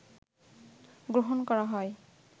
গ্রহণ করা হয়